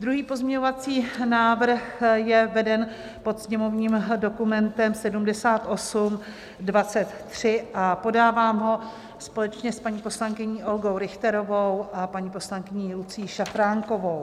Druhý pozměňovací návrh je veden pod sněmovním dokumentem 7823 a podávám ho společně s paní poslankyní Olgou Richterovou a paní poslankyní Lucií Šafránkovou.